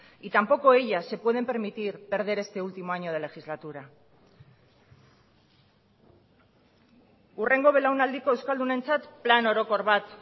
y tampoco ellas se pueden permitir perder este último año de legislatura hurrengo belaunaldiko euskaldunentzat plan orokor bat